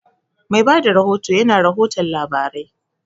Mai bada rahoto ya na rahoton labarai